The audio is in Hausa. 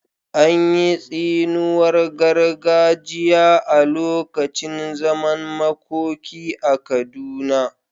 An yi tsiniwar gargajiya a lokacin zaman makoki a Kaduna?